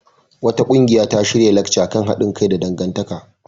Wata ƙungiya ta shirya lacca kan haɗin kai da abokantaka.